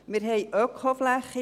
Wir haben Ökoflächen.